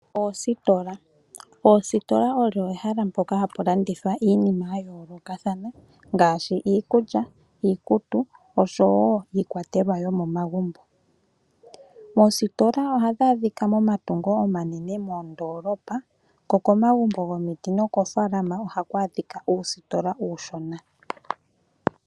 Oositola odho omahala mpoka hapu landithwa iinima yayoolokothana ngaashi iikulya, iikutu oshowo iikwatelwa yomomagumbo. Oostola ohadhi adhika momatungo omanene moondolopa, ko komagumbo gomiti nokofaalama ohaku adhika uustola uushona.